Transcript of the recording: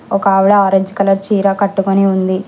ఒక ఆవిడ orange colour చీర కట్టుకుని ఉంది.